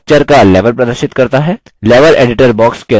level editor box के अंदर click करें